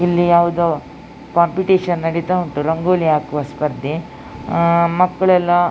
ಇಲ್ಲಿ ಯಾವುದೊ ಕಾಂಪಿಟಿಶನ್ ನಡೀತಾ ಉಂಟು ರಂಗೋಲಿ ಹಾಕುವ ಸ್ಪರ್ಧೆ ಅಹ್ ಮಕ್ಕಳೆಲ್ಲ --